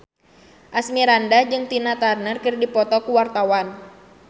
Asmirandah jeung Tina Turner keur dipoto ku wartawan